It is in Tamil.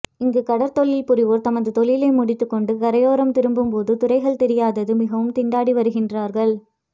இங்கு கடற்தொழில் புரிவோர் தமது தொழிலை முடித்துக்கொண்டு கரையோரம் திரும்பும் போது துறைகள் தெரியாது மிகவும் திண்டாடி வருகின்றார்கள்